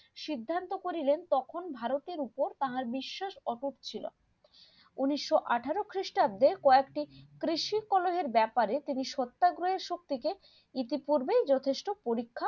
সিদ্ধান্ত করিলেন তখন ভারতের ওপর তাহার বিশ্বাস অটুট ছিল উনিশশো আঠেরো খ্রিস্টাব্দে কয়েকটি কৃষিকলোনের ব্যাপারে তিনি সত্যাগ্রহের সবথেকে ইতিপূর্বে যথেষ্ট পরীক্ষা